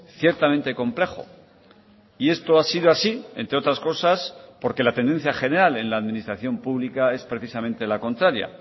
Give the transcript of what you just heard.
ciertamente complejo y esto ha sido así entre otras cosas porque la tendencia general en la administración pública es precisamente la contraria